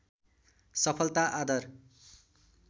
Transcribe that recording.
सफलता आदर